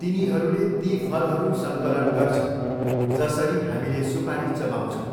तिनीहरूले ती फलहरू सङ्कलन गर्छन् जसरी हामीले सुपारी चबाउँछौँ।